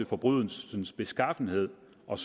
forbrydelsens beskaffenhed og